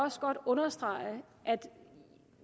også godt understrege at